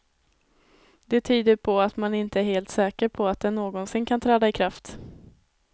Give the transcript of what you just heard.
Det tyder på att man inte är helt säker på att den någonsin kan träda i kraft.